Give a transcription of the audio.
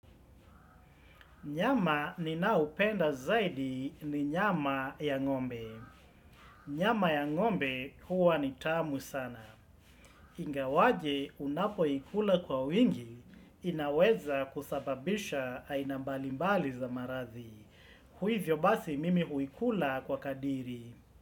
Nyama ninao penda zaidi ni nyama ya ngombe. Nyama ya ngombe huwa ni tamu sana. Ingawaje unapoikula kwa wingi inaweza kusababisha aina mbalimbali za marathi. Hivyo basi mimi huikula kwa kadiri.